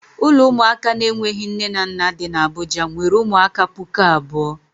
Ụlọ ụmụaka na-enweghi nne na nna dị n' Abuja nwere ụmụaka pụkụ abụọ.